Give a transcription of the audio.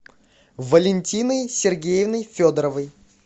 валентиной сергеевной федоровой